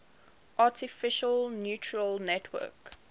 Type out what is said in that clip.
artificial neural network